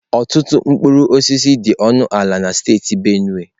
Ọtụtụ mkpụrụ osisi dị ọnụ ala na steeti Benue.